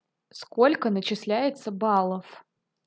сколько начисляется баллов